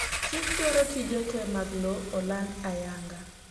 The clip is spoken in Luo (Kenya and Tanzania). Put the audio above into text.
chik dwaro tije te mag lowo oland ayanga